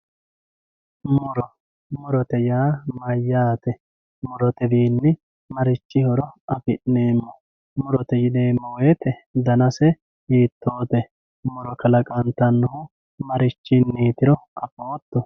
Muro, murote yaa mayyate, murotewiini marichi horo afi'neemo, murote yineemo woyite danase hiitote muro kalaqantanohu marichinitiro afooto